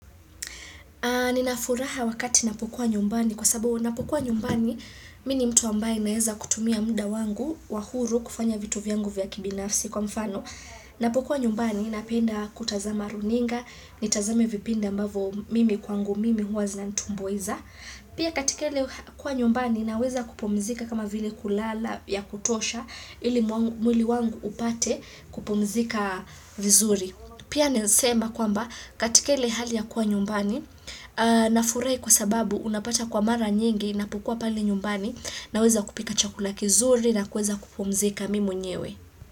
Nina furaha wakati napokuwa nyumbani kwa sababu napokuwa nyumbani mimi ni mtu ambaye naweza kutumia muda wangu wa huru kufanya vitu vyangu vya kibinafsi kwa mfano. Napokuwa nyumbani napenda kutazama runinga, nitazame vipindi ambavo mimi kwangu mimi huwa zinanitumbuiza. Pia katika ile kuwa nyumbani naweza kupumzika kama vile kulala ya kutosha ili mwili wangu upate kupumzika vizuri. Pia naezasema kwamba katika ile hali ya kuwa nyumbani nafurahi kwa sababu unapata kwa mara nyingi napokuwa pale nyumbani naweza kupika chakula kizuri na kuweza kupumzika mimi mwenyewe.